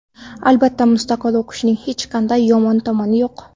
Albatta, mustaqil o‘qishning hech qanday yomon tomoni yo‘q.